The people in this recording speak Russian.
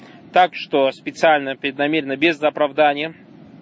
так что специально преднамеренно без оправдания